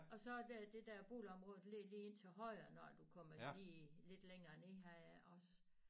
Og så er der det der boligområde der ligger lige ind til højre når du kommer lige lidt længere ned her af også